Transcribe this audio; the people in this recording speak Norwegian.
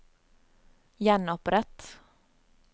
gjenopprett